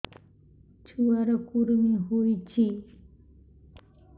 ଛୁଆ ର କୁରୁମି ହୋଇଛି